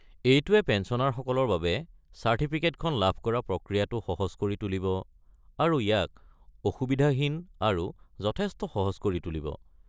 এইটোৱে পেঞ্চনাৰসকলৰ বাবে চাৰ্টিফিকেটখন লাভ কৰা প্ৰক্ৰিয়াটো সহজ কৰি তুলিব আৰু ইয়াক অসুবিধাহীন আৰু যথেষ্ট সহজ কৰি তুলিব।